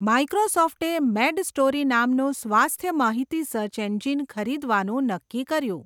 માઇક્રોસોફ્ટે MedStory નામનું સ્વાસ્થ્ય માહિતી સર્ચ એન્જિન ખરીદવાનું નક્કી કર્યું.